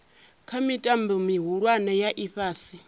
kha mitambo mihulwane ya ifhasi